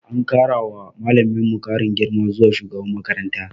An kara wa malaminmu karin girma zuwa shugaban makaranta.